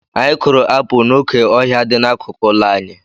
Anyị kụrụ apụl n'oké ọhịa dị n'akụkụ ụlọ anyị.